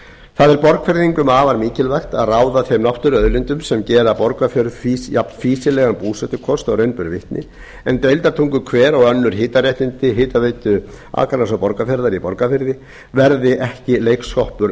það er borgfirðingum afar mikilvægt að ráða þeim náttúruauðlindum sem gera borgarfjörð jafnfýsilegan búsetukost og raun ber vitni en deildartunguhver og önnur hitaréttindi hitaveitu akraness og borgarfjarðar í borgarfirði verði ekki leiksoppar